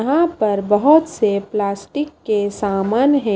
यहां पर बहुत से प्लास्टिक के सामान है।